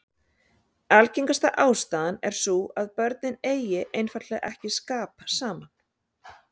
Algengasta ástæðan er sú að börnin eigi einfaldlega ekki skap saman.